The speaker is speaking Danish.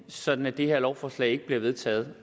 sådan at det her lovforslag ikke bliver vedtaget